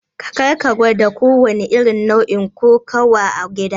Karka gwada kowanne irin nau'in kokawa a gida!